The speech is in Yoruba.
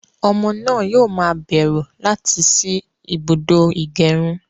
Ọmọ náà yóò ma bẹ̀rù láti sí ibùdó ìgẹrun